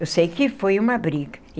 Eu sei que foi uma briga.